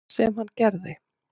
Sem hann gerði.